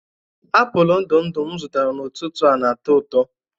apụl ndụ ndụ m zụtara n'ụtụtụ a na-atọ ụtọ